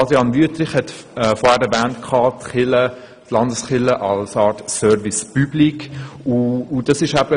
Adrian Wüthrich hat vorhin von den Landeskirchen als Service public gesprochen.